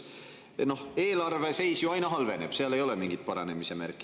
Noh, eelarve seis ju aina halveneb, seal ei ole mingeid paranemise märke.